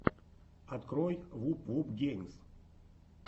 открой вуп вуп геймс